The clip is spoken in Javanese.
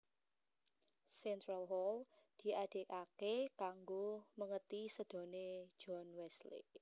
Central Hall diadegaké kanggo mèngeti sédané John Wesley